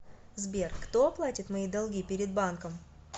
сбер кто оплатит мои долги перед банком